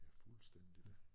Ja fuldstændig